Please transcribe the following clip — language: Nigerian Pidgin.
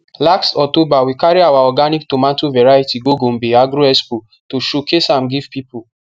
last october we carry our organic tomato variety go gombe agro expo to showcase am give people